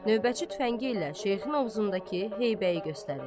Növbətçi tüfəngi ilə Şeyxin ovuzundakı heybəyi göstərir.